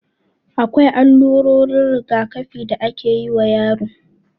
Akwai allurorin rigakafi da akeyi wa yaro